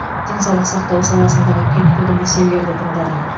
денсаулық сақтау саласындағы түйткілді мәселелерді тыңдадым